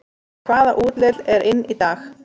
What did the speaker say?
Hvaða útlit er inn í dag